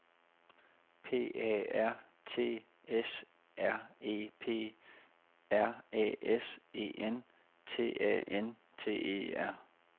P A R T S R E P R Æ S E N T A N T E R